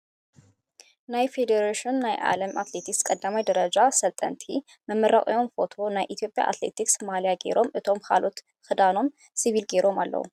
ናይ ፌዴሬሽኑ ናይ ዓለም አትሌቲክስ ቀዳማይ ደረጃ ሰልጠንቲ መመረቂኦም ፎቶ ናይ ኢትዮጵያ ኣትሌትክስ ማልያ ጌሮም እቶም ካልኦት ክዳኖም ስቪል ጌሮም ኣለዉ።